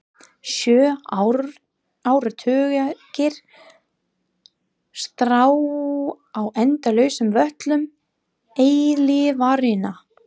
Sjö áratugir: strá á endalausum völlum eilífðarinnar.